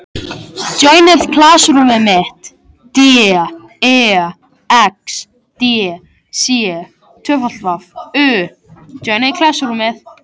Þið hafið heyrt af Greiningar- og ráðgjafarstöð ríkisins?